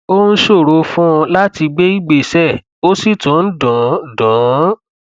ó ń ṣòro fún un láti gbé ìgbésẹ ó sì tún ń dùn dùn ún